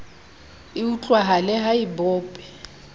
e utlwahale ha e bope